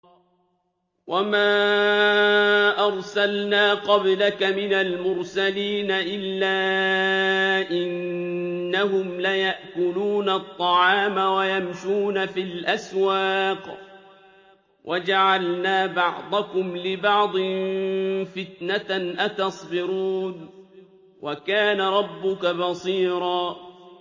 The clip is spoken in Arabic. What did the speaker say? وَمَا أَرْسَلْنَا قَبْلَكَ مِنَ الْمُرْسَلِينَ إِلَّا إِنَّهُمْ لَيَأْكُلُونَ الطَّعَامَ وَيَمْشُونَ فِي الْأَسْوَاقِ ۗ وَجَعَلْنَا بَعْضَكُمْ لِبَعْضٍ فِتْنَةً أَتَصْبِرُونَ ۗ وَكَانَ رَبُّكَ بَصِيرًا